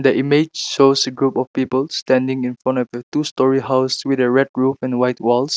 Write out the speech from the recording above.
image shows a group of people standing infront of a two storey house with a red roof and white walls.